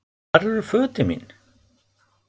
Hvar eru fötin mín?